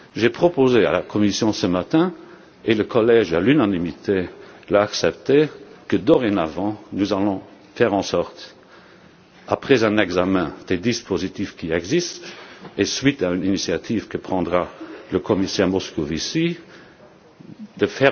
années. J'ai proposé à la Commission ce matin, et le Collège l'a accepté à l'unanimité, que, dorénavant, nous fassions en sorte, après un examen des dispositifs qui existent et suite à une initiative que prendra le commissaire Moscovici,